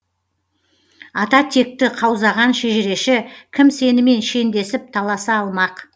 ата текті қаузаған шежіреші кім сенімен шендесіп таласа алмақ